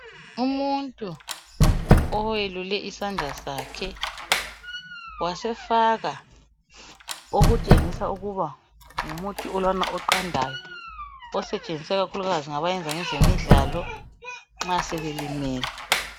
umuntu owelule isandla sakhe wasefaka okutshengisa ukuba ngumuthi lwana oqandayo osetshenziswa ikakhulukazi ngabayenza ngezemidlalo nxa sebelimele